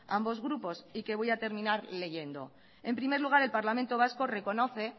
ambos grupos y que voy a terminar leyendo en primer lugar el parlamento vasco reconoce